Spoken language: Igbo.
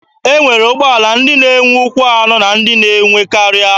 E nwere ụgbọala ndị na-enwe ụkwụ anọ na ndị na-enwe karịa.